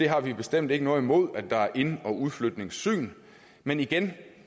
har bestemt ikke noget imod at der er ind og udflytningssyn men igen